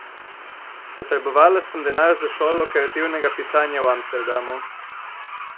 Potrebovala sem denar za šolo kreativnega pisanja v Amsterdamu.